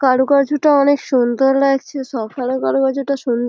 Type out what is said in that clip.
কারুকার্যটা অনেক সুন্দর লাগছে সকালের কারুকার্যটা সুন্দ --